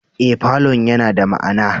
Ee, falon yana da ma'ana